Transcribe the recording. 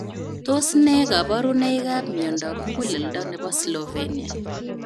Tos nee kabarunoik ap miondoop Muguleldoo nepo Slovenia?